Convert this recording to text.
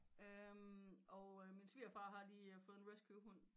Øh og min svigerfar har lige fået en rescue hund